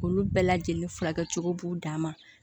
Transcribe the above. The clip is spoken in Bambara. Olu bɛɛ lajɛlen furakɛcogo b'u dan ma